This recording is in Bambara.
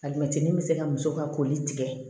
Alimɛti mi se ka muso ka koli tigɛ